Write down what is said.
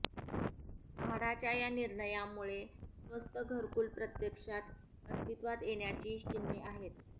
म्हाडाच्या या निर्णयामुळे स्वस्त घरकुल प्रत्यक्षात अस्तित्वात येण्याची चिन्हे आहेत